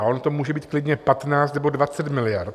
A ono to může být klidně 15 nebo 20 miliard.